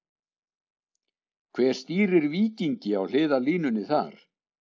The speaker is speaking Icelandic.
Hver stýrir Víkingi á hliðarlínunni þar?